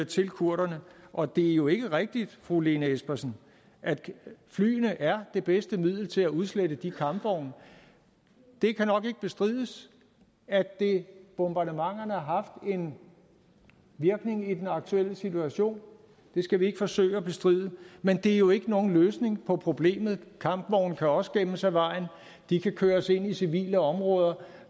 til kurderne og det er jo ikke rigtigt fru lene espersen at flyene er det bedste middel til at udslette de kampvogne det kan nok ikke bestrides at bombardementerne har haft en virkning i den aktuelle situation det skal vi ikke forsøge at bestride men det er jo ikke nogen løsning på problemet kampvogne kan også gemmes af vejen de kan køres ind i civile områder